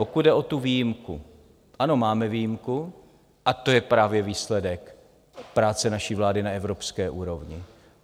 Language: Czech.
Pokud jde o tu výjimku, ano, máme výjimku, a to je právě výsledek práce naší vlády na evropské úrovni.